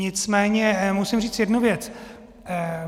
Nicméně musím říct jednu věc.